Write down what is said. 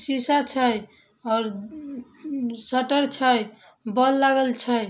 शीशा छै और अम-अम शटर छै। बोल लगल छै।